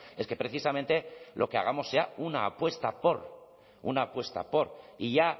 es que precisamente lo que hagamos sea una apuesta por una apuesta por y ya